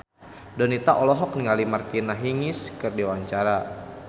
Donita olohok ningali Martina Hingis keur diwawancara